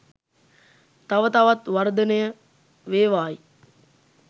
තව තවත් වර්ධනය වේවායි